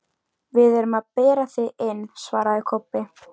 Ég frétti að þú værir komin með nýtt húsnæði.